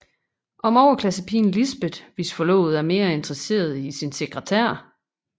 Om overklassepigen Lisbeth hvis forlovede er mere interesseret i sin sekretær